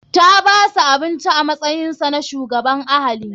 Ta bashi abinci a matsayinsa na shugaban ahali.